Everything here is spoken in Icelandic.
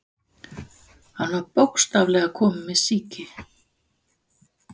Hann var bókstaflega kominn með sýki.